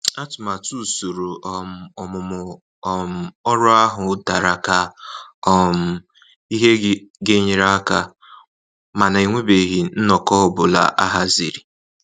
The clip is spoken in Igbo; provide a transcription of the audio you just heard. Atụmatụ usoro um ọmụmụ um ọrụ ahụ dara ka um ihe ga-enyere aka ,mana enwebeghị nnọkọ ọ bụla ahaziri.